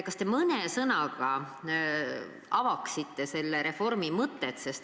Kas te mõne sõnaga avaksite selle reformi mõtet?